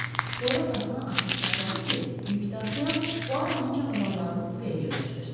Sonra qapını açıq saxladı ki, yük daşıyan Puaronun çamadanlarını kupəyə yerləşdirsin.